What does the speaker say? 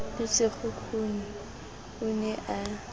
le sekgukhuni o ne a